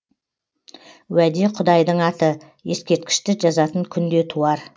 уәде құдайдың аты ескерткішті жазатын күн де туар